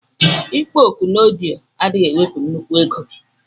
Ikpọ oku na ọdiọ adighi ewepu nnukwu ego.